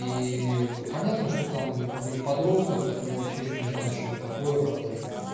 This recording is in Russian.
и понятно что там какой-нибудь подросток который вообще ещё не знает что это такое когда